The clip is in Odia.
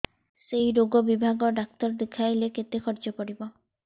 ସେଇ ରୋଗ ବିଭାଗ ଡ଼ାକ୍ତର ଦେଖେଇଲେ କେତେ ଖର୍ଚ୍ଚ ପଡିବ